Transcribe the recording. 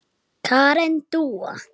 Karen Dúa.